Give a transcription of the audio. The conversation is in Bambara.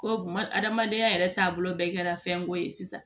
Ko hadamadenya yɛrɛ taabolo bɛɛ kɛra fɛnko ye sisan